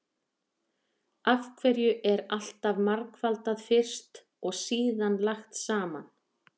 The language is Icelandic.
Af hverju er alltaf margfaldað fyrst og síðan lagt saman?